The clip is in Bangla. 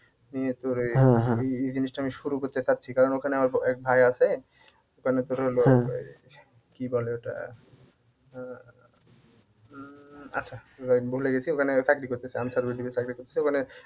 নিয়ে তোর এই এই এই জিনিসটা আমি শুরু করতে চাচ্ছি কারণ ওখানে আমার এক ভাই ওখানে তোর হলো কি বলে ওটা আহ উম আচ্ছা যাইহোক ভুলে গেছি ওখানে চাকরি করতেছে